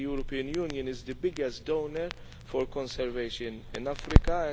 The European Union is the biggest donor for conservation in Africa.